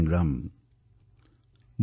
এই সমগ্ৰ অভিযানটো জন আন্দোলনলৈ পৰিৱৰ্তিত হৈছে